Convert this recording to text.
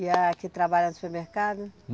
E a que trabalha no supermercado?